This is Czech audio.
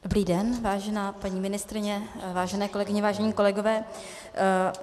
Dobrý den, vážená paní ministryně, vážené kolegyně, vážení kolegové.